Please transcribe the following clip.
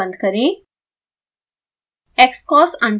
palette window बंद करें